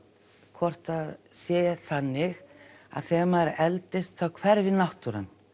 hvort það sé þannig að þegar maður eldist þá hverfi náttúran